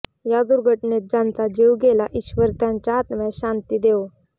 या दुर्घटनेत ज्यांचा जीव गेला ईश्वर त्यांच्या आत्म्यास शांती देवो